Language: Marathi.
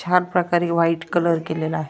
छान प्रकारे व्हाइट कलर केलेला आहे.